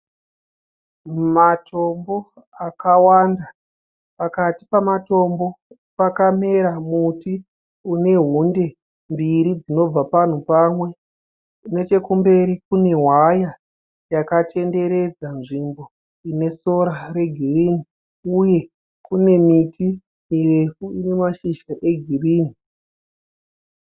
Matombbo akawanda. Pakati pematombo pakamera muti une hundi mbiri dzinobva panhu pamwe nechekumberi kune hwaya yakakatenderedza nzvimbo ine sora regirini uye kune miti mirefu ine mashizha egirini.